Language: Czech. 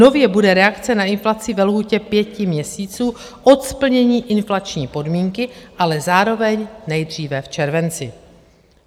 Nově bude reakce na inflaci ve lhůtě pěti měsíců od splnění inflační podmínky, ale zároveň nejdříve v červenci.